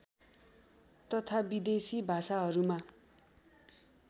तथा विदेशी भाषाहरूमा